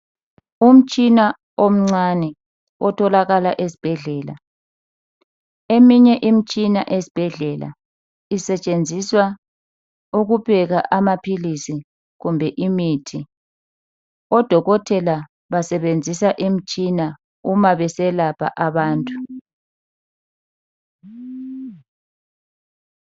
Umtshina omncane otholakala esibhedlela eminye imitshina ezibhedlela isetshenziswa ukupheka amaphilisi kumbe imithi odokotela basebenzisa imitshina uma beselapha abantu.